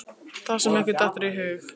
Það sem ykkur dettur í hug!